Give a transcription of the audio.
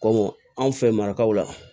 Komɔ anw fɛ marikaw la